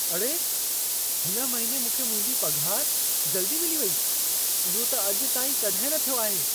अड़े! हिन महिने मूंखे मुंहिंजी पघार जल्दी मिली वेई। इहो त अॼु ताईं कॾहिं न थियो आहे।